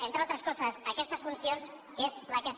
entre altres coses aquestes funcions que és la que ha estat cessada